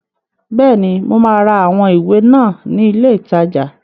Bẹ́ẹ̀ni, mo máa ra àwọn ìwé náà ní ilé ìtajà.